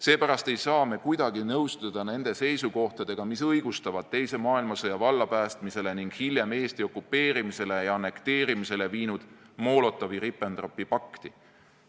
Seepärast ei saa me kuidagi nõustuda nende seisukohtadega, mis õigustavad teise maailmasõja vallapäästmisele ning hiljem Eesti okupeerimisele ja annekteerimisele viinud Molotovi-Ribbentropi pakti.